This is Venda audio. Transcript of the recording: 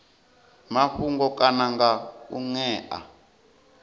mafhungo kana nga u ṅea